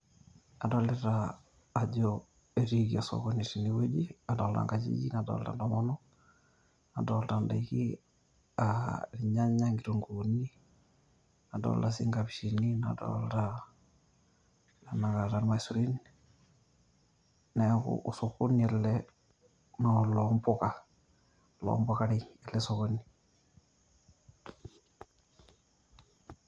adolita ajo etiiki osokoni tene wueji, adoolta nkajijik nadoolta ntomonok, adoolta ndaikin, irnyanya, inkitunkuuni. adolta sii inkapishini, nadolta tenakata irmasurin, neeku osokoni ele, naaa oloo mpuka. oloo mpukarei ele sokoni.